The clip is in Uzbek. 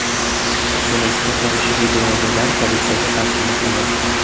Buni isbotlovchi videoyozuvlar politsiyaga taqdim etilgan.